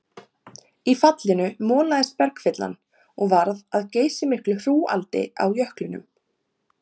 Í fallinu molaðist bergfyllan og varð að geysimiklu hrúgaldi á jöklinum.